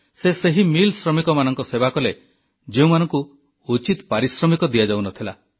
ସେ ସେହି ମିଲ୍ ଶ୍ରମିକମାନଙ୍କ ସେବା କଲେ ଯେଉଁମାନଙ୍କୁ ଉଚିତ ପାରିଶ୍ରମିକ ଦିଆଯାଉନଥିଲା